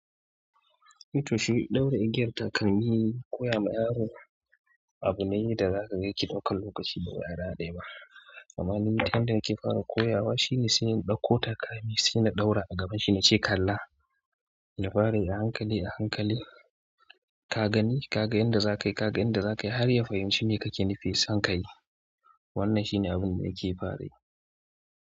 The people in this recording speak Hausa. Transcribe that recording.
Ito shi ɗaure igiyar takalmi koyama yaro. Abu ne da za ka yake ɗauka lokaci ba ra dai ba. Amma ni ta yanda nike fara koya wa shine sai in ɗauko takalmi, sai na ɗaura a gaban shi na ce kalla ya fara yi ahankali ahankali. Ka gani, ka ga yanda za ka yi, ka ga yanda za ka yi har ya fahimci me kake nufi, san kai. Wannan shine abun da nake fara yi.